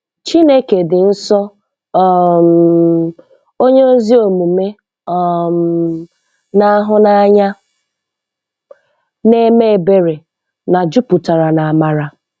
Chineke dị nsọ, um onye ezi omume, um na-ahụ n'anya, na-eme ebere, na juputara na amara.